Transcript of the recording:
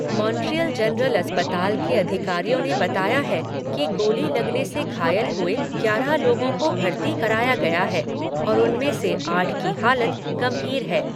Montreal General अस्पताल के अधिकारियों ने बताया है कि गोली लगने से घायल हुए ग्यारह लोगों को भर्ती कराया गया है और उनमें से आठ की हालत गंभीर है।